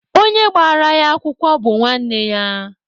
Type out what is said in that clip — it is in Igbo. Onye gbara ya akwụkwọ bụ nwanne ya.